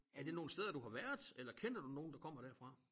Er det nogle steder du har været eller kender du nogen der kommer derfra?